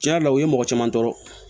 Tiɲɛ yɛrɛ la o ye mɔgɔ caman tɔɔrɔ